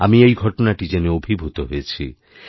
আমি এই ঘটনাটিজেনে অভিভূত হয়েছি